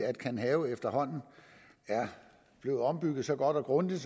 at kanhave er blevet ombygget så godt og grundigt